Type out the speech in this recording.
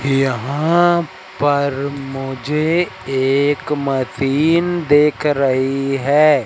यहां पर मुझे एक मशीन दिख रही है।